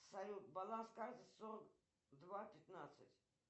салют баланс карты сорок два пятнадцать